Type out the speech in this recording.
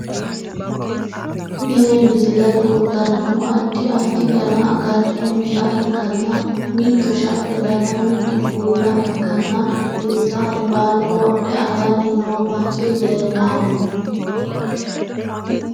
Tini misile kultannohu addi adfi dana agattonniha ikkanna mitu shaete dana mitu bulla ikkanna insa albaanni wodhe aganni no manchi leellanno.